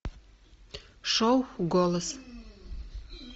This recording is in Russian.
шоу голос